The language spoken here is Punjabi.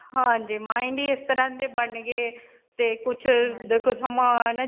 ਹਾਂਜੀ. mind ਹੀ ਇਸ ਤਰ੍ਹਾਂ ਸੇ ਬਣ ਗਏ ਤੇ ਕੁਝ ਦੇਖੋ ਸਮਾਂ ਨਾ.